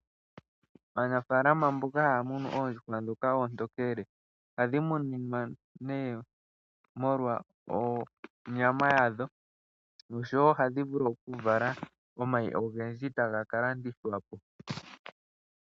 Aanafalama mboka haya munu oondjuhwa ndhoka oontokele. Ohadhi muninwa nee molwa onyama yadho nosho wo ohadhi vulu okuvala omayi ogendji taga ka landithwa po.